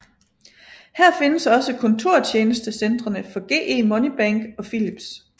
Her findes også kontortjenestecentrene for GE Money Bank og Philips